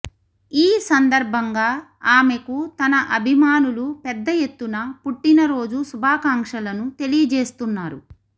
ఈ సందర్భంగా ఆమెకు తన అభిమానులు పెద్ద ఎత్తున పుట్టినరోజు శుభాకాంక్షలను తెలియజేస్తున్నారు